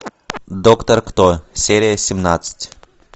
доктор кто серия семнадцать